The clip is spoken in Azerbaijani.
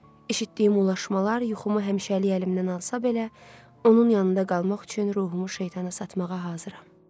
Eşitdiyim ulaşmalar yuxumu həmişəlik əlimdən alsa belə, onun yanında qalmaq üçün ruhumu şeytana satmağa hazıram.